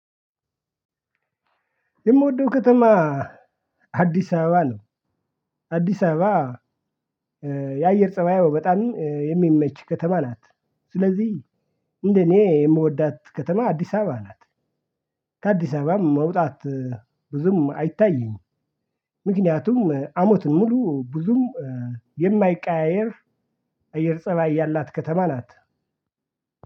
የምወደው ከተማ አዲስ አበባ ነው አዲስ አበባ የአየር ፀባዩ በጣም የሚመች ከተማ ናት ስለዚህ እንደኔ የምወዳት ከተማ አዲስ አበባ ናት። ከአዲስ አበባም መውጣት ብዙም አይታይም ምክንያቱም አመቱን ሙሉ ብዙም የማይቀያየር እየር ፀባይ ያላት ከተማ ናት